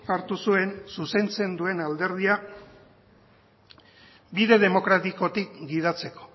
hartu zuen zuzentzen duen alderdia bide demokratikotik gidatzeko